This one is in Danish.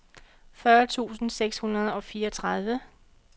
fyrre tusind seks hundrede og fireogtredive